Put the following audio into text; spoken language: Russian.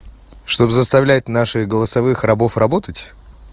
чтобы заставлять наших голосовых рабов работать